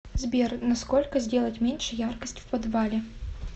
сбер на сколько сделать меньше яркость в подвале